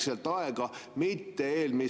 Selline sõnakasutus minu meelest siia saali ei sobi.